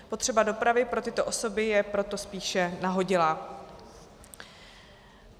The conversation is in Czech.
Potřeba dopravy pro tyto osoby je proto spíše nahodilá.